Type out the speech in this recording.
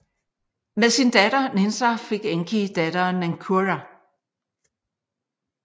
Men sin datter Ninsar fik Enki datteren Ninkurra